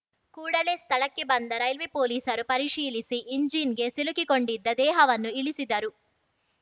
ಕೂಡಲೇ ಸ್ಥಳಕ್ಕೆ ಬಂದ ರೈಲ್ವೆ ಪೊಲೀಸರು ಪರಿಶೀಲಿಸಿ ಎಂಜಿನ್‌ಗೆ ಸಿಲುಕಿಕೊಂಡಿದ್ದ ದೇಹವನ್ನು ಇಳಿಸಿದರು